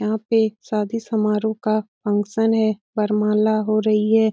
यहाँ पे शादी समारोह का फंक्शन है वरमाला हो रही है।